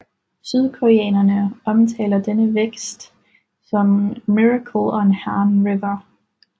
Sydkoreanerne omtaler denne vækst som Miracle on Han River